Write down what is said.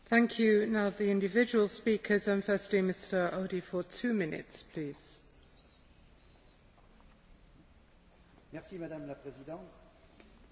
Madame la Présidente, Madame la Commissaire, chers collègues, mes premiers mots seront pour féliciter le rapporteur, mon ami Jean Březina, qui a fait un excellent travail.